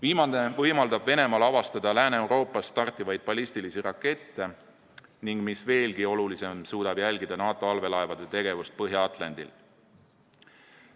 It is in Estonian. Viimane võimaldab Venemaal avastada Lääne-Euroopast startivaid ballistilisi rakette ning mis veelgi olulisem, suudab jälgida NATO allveelaevade tegevust Põhja-Atlandil.